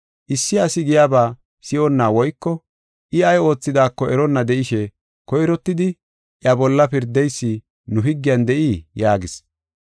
“Issi asi giyaba si7onna woyko I ay oothidaako eronna de7ishe koyrottidi iya bolla pirdeysi nu higgiyan de7ii?” yaagis.